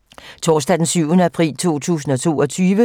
Torsdag d. 7. april 2022